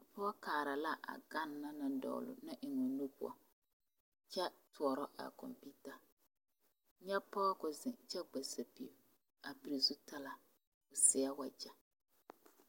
a pɔge kaara la a gane na dogli a eŋ o nu poɔ kyɛ toɔrɔ a kompeta nyɛ pɔge ka o zeŋ kyɛ gba sapili a pili zutara a seɛ wagyɛ